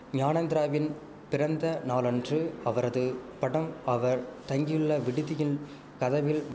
ஞானேந்திராவின் பிறந்த நாளன்று அவரது படம் அவர் தங்கியுள்ள விடுதியில் கதவில்